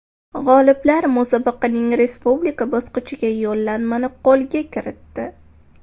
G‘oliblar musobaqaning respublika bosqichiga yo‘llanmani qo‘lga kiritdi.